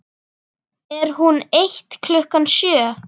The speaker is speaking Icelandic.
Er hún eitt klukkan sjö?